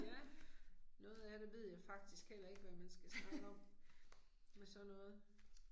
Ja. Noget af det ved jeg faktisk heller ikke hvad man skal snakke om. Med sådan noget